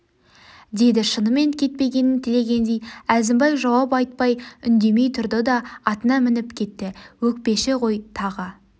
деді шынымен кетпегенін тілегендей әзімбай жауап айтпай үндемей тұрды да атына мініп кетті өкпеші ғой тағы